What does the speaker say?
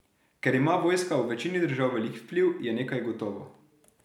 Ker ima vojska v večini držav velik vpliv, je nekaj gotovo.